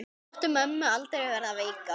Láttu mömmu aldrei verða veika.